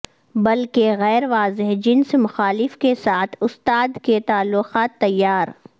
بلکہ غیر واضح جنس مخالف کے ساتھ استاد کے تعلقات تیار